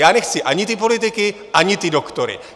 Já nechci ani ty politiky, ani ty doktory.